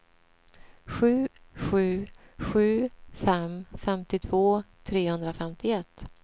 sju sju sju fem femtiotvå trehundrafemtioett